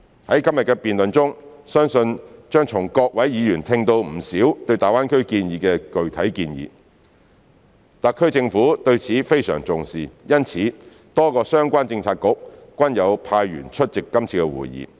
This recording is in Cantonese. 在今天的辯論中，相信將從各位議員聽到不少對大灣區建設的具體建議，特區政府對此非常重視，因此多個相關政策局均有派員出席今次的會議。